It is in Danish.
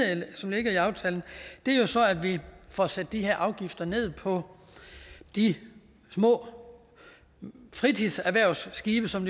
som ligger i aftalen er jo så at vi får sat de her afgifter ned på de små fritidserhvervsskibe som